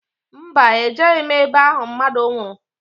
Mba, ejeghi m ebe ahụ mmadụ nwụrụ